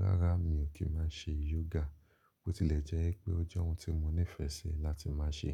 Rárá, mi ò kí máa n se yoga. Bo tilẹ̀ jẹ́ pé ó jẹ́ ohun tí mo nífẹsí láti má ṣè